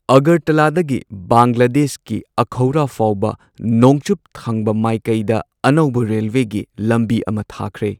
ꯑꯒꯔꯇꯂꯥꯗꯒꯤ ꯕꯪꯒ꯭ꯂꯥꯗꯦꯁꯀꯤ ꯑꯈꯧꯔꯥ ꯐꯥꯎꯕ ꯅꯣꯡꯆꯨꯞ ꯊꯪꯕ ꯃꯥꯏꯀꯩꯗ ꯑꯅꯧꯕ ꯔꯦꯜꯋꯦꯒꯤ ꯂꯝꯕꯤ ꯑꯃ ꯊꯥꯈ꯭ꯔꯦ꯫